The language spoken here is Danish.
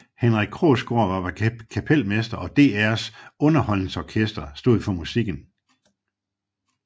Henrik Krogsgaard var kapelmester og DRs underholdningsorkester stod for musikken